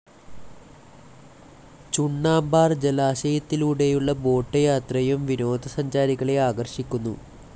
ചുണ്ണാമ്പാർ ജലാശയത്തിലൂടെയുള്ള ബോട്ട്‌ യാത്രയും വിനോദസഞ്ചാരികളെ ആകർഷിക്കുന്നു.